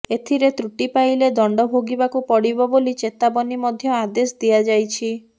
ଏଥିରେ ତ୍ରୁଟି ପାଇଲେ ଦଣ୍ଡ ଭୋଗିବାକୁ ପଡ଼ିବ ବୋଲି ଚେତାବନୀ ମଧ୍ୟ ଆଦେଶ ଦିଆଯାଇଛି